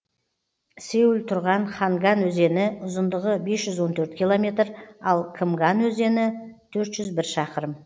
сеул тұрған ханган өзені ұзындығы бес жүз он төрт километр ал кымган өзені төрт жүз бір шақырым